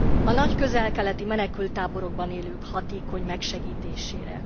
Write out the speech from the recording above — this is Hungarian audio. A nagy közel keleti menekülttáborokban élők hatékony megsegítésére.